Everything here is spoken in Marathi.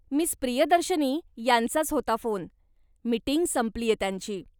मिस प्रियदर्शनी यांचाच होता फोन, मिटिंग संपलीये त्यांची.